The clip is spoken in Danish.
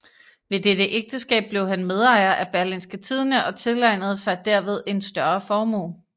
Ved dette ægtskab blev han medejer af Berlingske Tidende og tilegnede sig derved en større formue